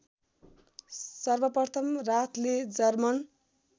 सर्वप्रथम राथले जर्मन